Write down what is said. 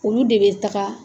Olu de bɛ taga